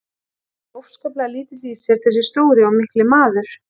Hann er óskaplega lítill í sér þessi stóri og mikli maður.